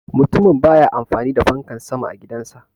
Mutumin baya amfani da fankan sama a gidan sa.